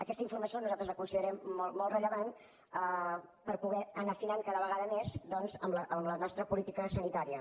aquesta informació nosaltres la considerem molt rellevant per poder anar afinant cada vegada més doncs la nostra política sanitària